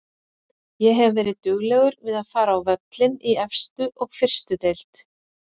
Ég hef verið duglegur við að fara á völlinn í efstu og fyrstu deild.